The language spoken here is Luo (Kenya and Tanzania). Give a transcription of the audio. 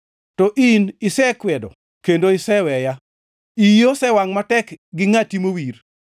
To in isekwedo, kendo iseweya, iyi osewangʼ matek gi ngʼati mowir.